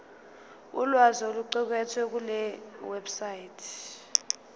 ulwazi oluqukethwe kulewebsite